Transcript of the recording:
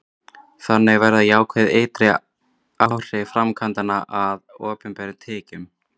þannig verða jákvæð ytri áhrif framkvæmdanna að opinberum tekjum